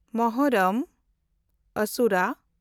ᱢᱩᱦᱚᱨᱨᱚᱢ (ᱟᱥᱩᱨᱟ)